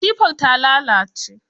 Katifar ta lalace.